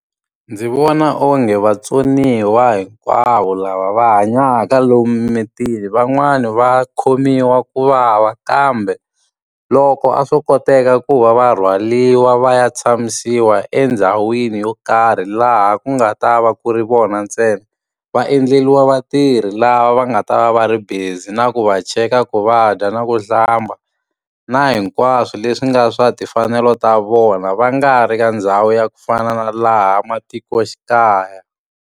Ndzi vona onge vatsoniwa hinkwavo lava va hanyaka lomu mimitini van'wani va khomiwa ku vava kambe, loko a swo koteka ku va va rhwariwa va ya tshamisiwa endhawini yo karhi laha ku nga ta va ku ri vona ntsena. Va endleriwa vatirhi lava va nga ta va va ri busy na ku va cheka ku va dya na ku hlamba, na hinkwaswo leswi nga swa timfanelo ta vona. Va nga ri ka ndhawu ya ku fana na laha matikoxikaya.